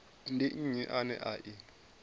ndi nnyi ane a i